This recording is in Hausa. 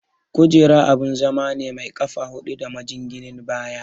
Kujera abun zama ne mai ƙafa hudu da majinginin baya.